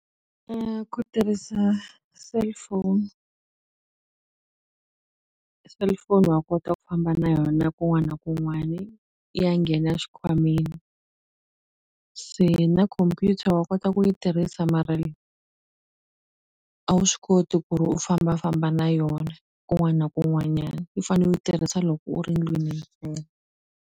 Ku tirhisa cellphone cellphone wa kota ku famba na yona kun'wana na kun'wani i ya nghena xikhwameni se na computer wa kota ku yi tirhisa mara a wu swi koti ku ri u fambafamba na yona kun'wana kun'wanyani u fane u tirhisa loko u ri ndlwini ntsena.